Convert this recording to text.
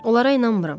Onlara inanmıram.